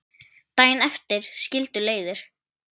Daginn eftir skildu leiðir.